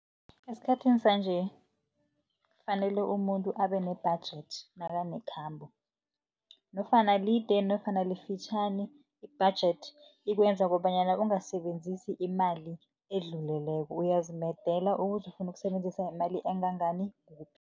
Esikhathini sanje fanele umuntu abe ne-budget nakanekhambo, nofana lide nofana lifitjhani, i-budget ikwenza kobanyana ungasebenzisi imali edluleleko, uyazimedela ukuthi ufuna ukusebenzisa imali engangani kuphi.